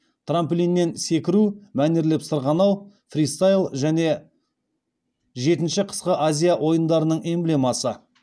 трамплиннен секіру мәнерлеп сырғанау фристайл және жетінші қысқы азия ойындарының эмблемасы